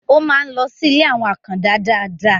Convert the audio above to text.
ó ń máa ń lọ sí ilé àwọn àkàndá dáadáa